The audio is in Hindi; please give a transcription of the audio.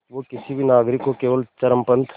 वो किसी भी नागरिक को केवल चरमपंथ